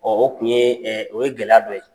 o tun ye o ye gɛlɛya dɔ ye.